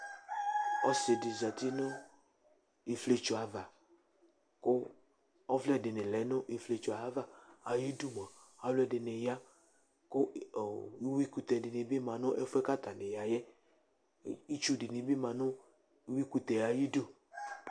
Ɔsɩ dɩ zati nʋ ifietso ava kʋ ɔvlɛ dɩnɩ lɛ nʋ ifietso yɛ ava Ayidu mʋa, alʋɛdɩnɩ ya kʋ i ɔ uyuikʋtɛ dɩnɩ bɩ ma nʋ ɛfʋ yɛ kʋ atanɩ ya yɛ kʋ itsunɩ bɩ ma nʋ uyuikʋtɛ yɛ ayidu